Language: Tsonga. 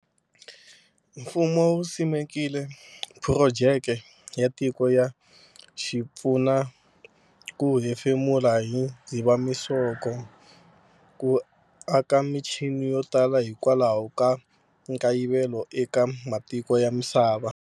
Mfumo wu simekile Phurojeke ya tiko ya xi pfuna ku hefemula hi Dzivamisoko, ku aka michini yo tala hikwalaho ka nkayivelo eka matiko ya misava.